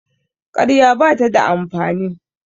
ƙarya ba ta da amfani